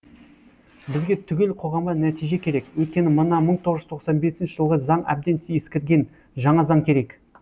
бізге түгел қоғамға нәтиже керек өйткені мына мың тоғыз жүз тоқсан бесінші жылғы заң әбден ескірген жаңа заң керек